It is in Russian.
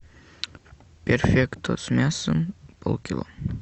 перфекто с мясом полкило